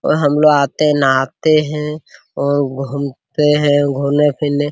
और हमलोग आते हैं नहाते हैं और घूमते हैं घूमने फिरने --